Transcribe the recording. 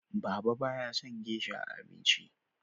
Baba ba ya son gesha a abinci